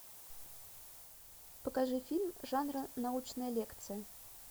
покажи фильм жанра научная лекция